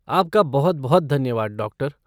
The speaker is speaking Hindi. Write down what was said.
आपका बहुत बहुत धन्यवाद, डॉक्टर